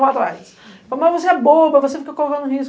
ela vai. Mas você é boba, você fica correndo risco.